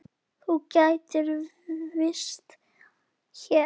Þú gætir gist hér.